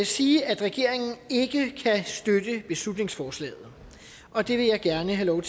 sige at regeringen ikke kan støtte beslutningsforslaget og det vil jeg gerne have lov